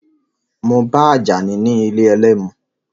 Mo ba Àjàní ní ilé ẹlẹ́mu.